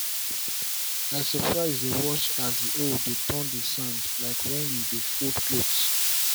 i surprise dey watch as the hoe dey turn the sand like when you dey fold cloth.